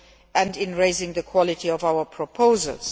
and in raising the quality of our proposals.